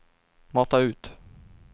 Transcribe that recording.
mata ut